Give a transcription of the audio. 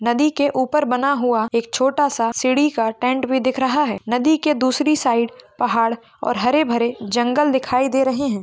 नदी के ऊपर बना हुआ एक छोटा सा सीडी का टेंट भी दिख रहा है। नदी के दूसरी साइड पहाड़ और हरे भरे जंगल दिखाई दे रहे है।